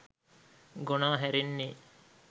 ගොනා හැරෙන්නේ